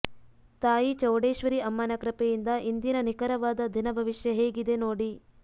ತಾಯಿ ಚೌಡೇಶ್ವರಿ ಅಮ್ಮನ ಕೃಪೆಯಿಂದ ಇಂದಿನ ನಿಖರವಾದ ದಿನಭವಿಷ್ಯ ಹೇಗಿದೆ ನೋಡಿ